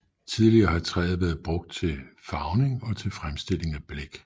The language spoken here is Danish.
Tidligere har træet været brugt til farvning og til fremstilling af blæk